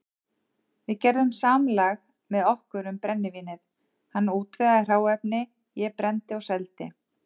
Við gerðum samlag með okkur um brennivínið, hann útvegaði hráefni, ég brenndi og seldi.